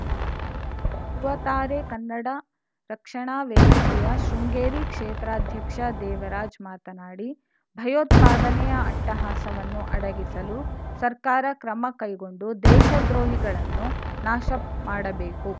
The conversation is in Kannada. ಧೃವತಾರೆ ಕನ್ನಡ ರಕ್ಷಣಾ ವೇದಿಕೆಯ ಶೃಂಗೇರಿ ಕ್ಷೇತ್ರಾಧ್ಯಕ್ಷ ದೇವರಾಜ್‌ ಮಾತನಾಡಿ ಭಯೋತ್ಪಾದನೆಯ ಅಟ್ಟಹಾಸವನ್ನು ಅಡಗಿಸಲು ಸರ್ಕಾರ ಕ್ರಮ ಕೈಗೊಂಡು ದೇಶ ದ್ರೋಹಿಗಳನ್ನು ನಾಶ ಮಾಡಬೇಕು